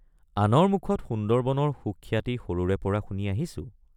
আনৰ মুখত সুন্দৰবনৰ সুখ্যাতি সৰুৰেপৰা শুনি আহিছোঁ।